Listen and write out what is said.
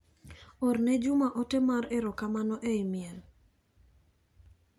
Orne Juma ote mar ero kamano e imel.